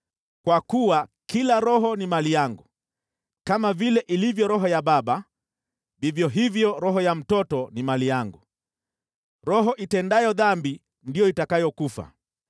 Kwa kuwa kila roho ni mali yangu, kama vile ilivyo roho ya baba, vivyo hivyo roho ya mtoto ni mali yangu. Roho itendayo dhambi ndiyo itakayokufa.